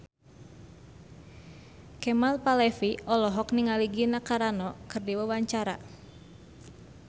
Kemal Palevi olohok ningali Gina Carano keur diwawancara